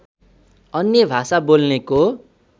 अन्य भाषा बोल्नेको